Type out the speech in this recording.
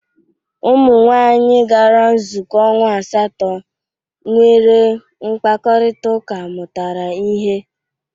Umụnwaanyị gara nzụkọ ọnwa asatọ nwere mkpakọrịtaụka mụtara ihe.